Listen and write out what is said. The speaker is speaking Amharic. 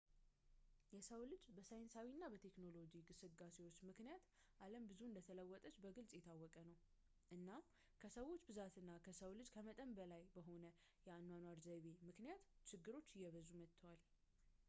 የሰው ልጅ በሳይንሳዊ እና በቴክኖሎጂ ግስጋሴዎች ምክንያት ዓለም ብዙ እንደተለወጠች በግልፅ የታወቀ ነው ፣ እና ከሰው ብዛት እና ከሰው ልጅ ከመጠን በላይ በሆነ የአኗኗር ዘይቤ ምክንያት ችግሮች እየበዙ መጥተዋል